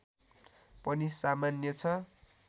पनि सामान्य छ